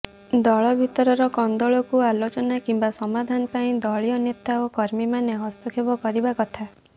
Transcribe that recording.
ଦଳ ଭିତରର କନ୍ଦଳକୁ ଆଲୋଚନା କିମ୍ବା ସମାଧାନ ପାଇଁ ଦଳୀୟ ନେତା ଓ କର୍ମୀମାନେ ହସ୍ତକ୍ଷେପ କରିବା କଥା